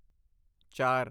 ਚਾਰ